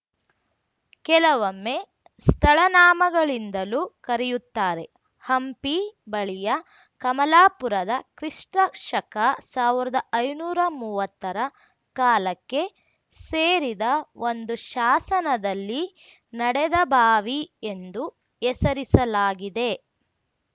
ಕೆಲವೊಮ್ಮೆ ಸ್ಥಳನಾಮಗಳಿಂದಲೂ ಕರೆಯುತ್ತಾರೆ ಹಂಪಿ ಬಳಿಯ ಕಮಲಾಪುರದ ಕ್ರಿಸ್ತಶಕಸಾವರ್ದಾ ಐನೂರಾ ಮೂವತ್ತರ ಕಾಲಕ್ಕೆ ಸೇರಿದ ಒಂದು ಶಾಸನದಲ್ಲಿ ನಡದಬಾವಿಎಂದು ಹೆಸರಿಸಲಾಗಿದೆ